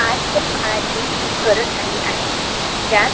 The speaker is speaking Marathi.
आजच्या काळाची गरज झाली आहे ज्या